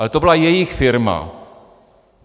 Ale to byla jejich firma.